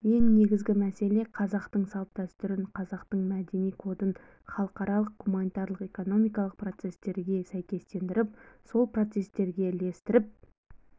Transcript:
ең негізгі мәселе қазақтың салт-дәстүрін қазақтың мәдени кодын халықаралық гуманитарлық экономикалық процестерге сәйкестендіріп сол процестерге ілестіріп